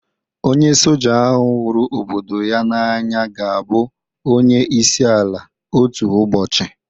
Onye Soja ahụ huru obodo ya n'anya ga-abụ onye isi ala otu ụbọchị.